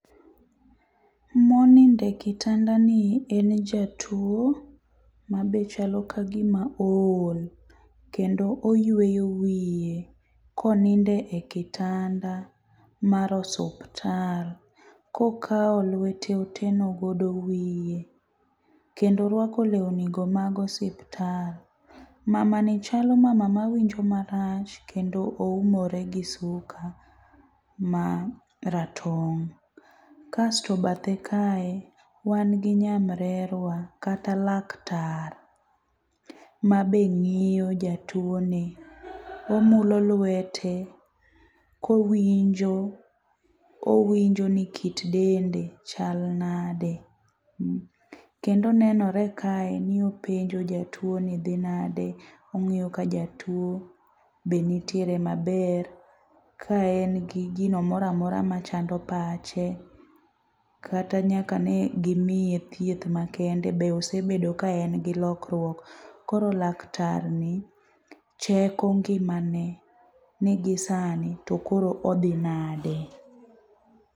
Monindo e kitandani en jatuwo ma be chalo ka gima ool, kendo oyweyo wiye konindo e kitanda mar osuptal kokawo lwete oteno godo wiye kendo orwako lewnigo mag osuptal. Mamani chalo mama mawinjo marach kendo oumore gi suka ma ratong',kasto ba the kae, wan gi nyamrerwa kata laktar, ma be ng'iyo jatuwoni . Omulo lwete kowinjo ni kit dende chal nade, kendo nenore kae ni openjo jatuwo ni dhi nadi, ong'iyo ka jatuwo bende nitiere maber ka en gi gino mora mora machando pache kata nyaka ne gimiye thieth makende be osebedo ka en gi lokruok. Koro laktarni cheko ngimane ni gisani tokoro odhi nade.